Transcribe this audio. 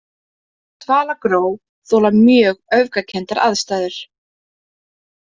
Dvalagró þola mjög öfgakenndar aðstæður.